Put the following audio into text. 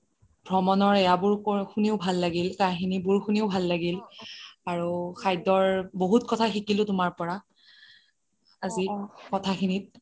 ভ্ৰমণৰ এইয়া বোৰ শুনিয়ো ভাল লাগিল কাহানি বোৰ শুনিয়ো ভাল লাগিল আৰু খাদ্যৰ বহুত কথা শিকিলোঁ তোমাৰ পৰা আজিৰ কথা খিনিত